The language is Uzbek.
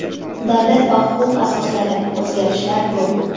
Davlat va huquq asoslari: o‘zgarishlar yo‘q.